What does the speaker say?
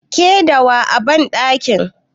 Ke da waye a banɗakin?